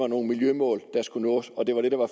nogle miljømål der skulle nås og det var det der var